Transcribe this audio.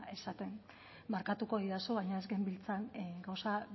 esaten barkatuko didazu baina ez genbiltzan gauza